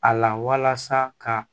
A la walasa ka